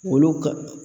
Olu ka